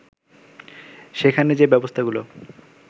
সেখানে যে ব্যবস্থাগুলো